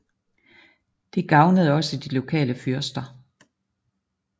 Det gavnede også de lokale fyrster